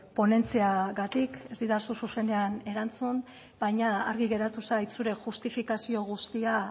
ponentziagatik ez didazu zuzenean erantzun baina argi geratu zait zure justifikazio guztia